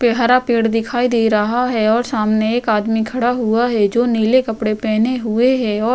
हरा पेड़ दिखाई दे रहा है और सामने एक आदमी खड़ा हुआ है जो नीले कपड़े पहने हुए है और --